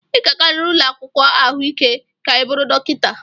Ị ga-agarịrị ụlọ akwụkwọ ahụike ka ị bụrụ dọkịta.